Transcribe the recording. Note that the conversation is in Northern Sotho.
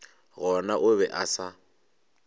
gona o be a sa